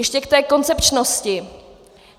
Ještě k té koncepčnosti.